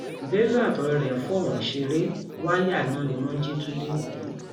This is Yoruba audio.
bello àtọrẹ ẹ ń fọwọn ṣeré wáyà iná ni wọn ń jí tu lẹkọọ